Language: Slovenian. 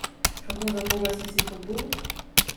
Kako, zaboga, si si jih obul?